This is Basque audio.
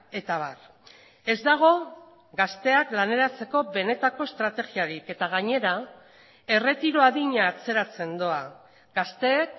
eta abar ez dago gazteak laneratzeko benetako estrategiarik eta gainera erretiro adina atzeratzen doa gazteek